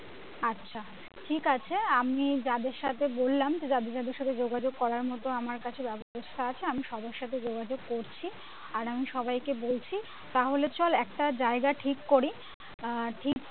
আচ্ছা ঠিকাছে আমি যাদের সাথে বললাম যাদের যাদের সাথে যোগাযোগ করার মতো আমার কাছে ব্যাবস্থা আছে আমি সবার সাথে যোগাযোগ করছি আর আমি সবাইকে বলছি তাহলে চল একটা জায়গা ঠিক করি আহ ঠিক